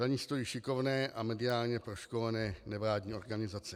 Za ní stojí šikovné a mediálně proškolené nevládní organizace.